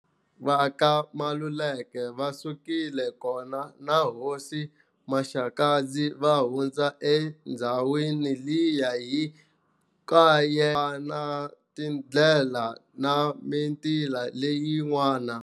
Va ka Maluleke va sukile kona na hosi Maxakadzi va hundza endzhawini liya hi na tindlela na mimiti liya yin'wani.